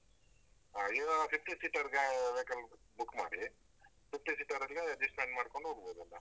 ಹಾ ನೀವು fifty seater ಗೆ vehicle book ಮಾಡಿ. fifty seater ಅಲ್ಲಿ adjustment ಮಾಡ್ಕೊಂಡ್ ಹೋಗ್ಬೋದಲ್ಲ.